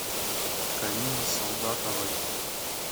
карине солдатовой